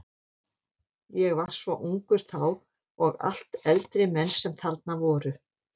Ég var svo ungur þá og allt eldri menn sem þarna voru.